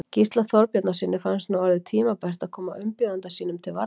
Gísla Þorbjarnarsyni fannst nú orðið tímabært að koma umbjóðanda sínum til varnar.